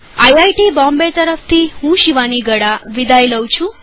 IIT Bombay તરફથી હું શિવાની ગડા વિદાય લઉં છું